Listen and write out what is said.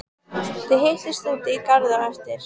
Þið hittist úti í garði á eftir.